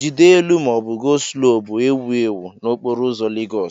"jide elu ma ọ bụ ""go slow" bụ ewu ewu n'okporo ụzọ Lagos."